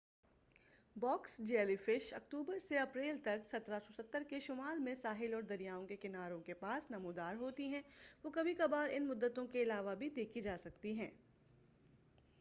box jelly fish اکتوبر سے اپریل تک 1770 کے شمال میں ساحل اور دریاؤں کے کناروں کے پاس نمودار ہوتی ہیں وہ کبھی کبھار ان مدتوں کے علاوہ بھی دیکھی جا سکتی ہیں